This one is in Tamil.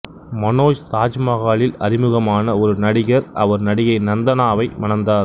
மனோஜ் தாஜ்மஹாலில் அறிமுகமான ஒரு நடிகர் அவர் நடிகை நந்தனாவை மணந்தார்